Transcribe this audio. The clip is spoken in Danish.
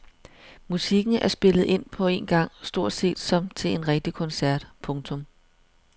Musikken er spillet ind på en gang stort set som til en rigtig koncert. punktum